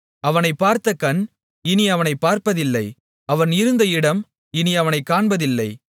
அவனைப் பார்த்த கண் இனி அவனைப் பார்ப்பதில்லை அவன் இருந்த இடம் இனி அவனைக் காண்பதில்லை